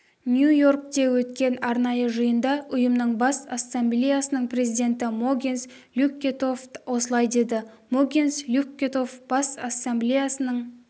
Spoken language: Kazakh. нью-йоркте өткен арнайы жиында ұйымның бас ассамблеясының президенті могенс люккетофт осылай деді могенс люккетофт бас ассамблеясының